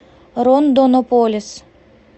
рондонополис